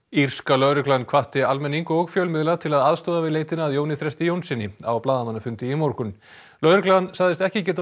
írska lögreglan hvatti almenning og fjölmiðla til að aðstoða við leitina að Jóni Þresti Jónssyni á blaðamannafundi í morgun lögreglan sagðist ekki geta